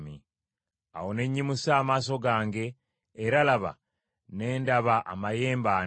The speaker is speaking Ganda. Awo ne nnyimusa amaaso gange, era laba, ne ndaba amayembe ana.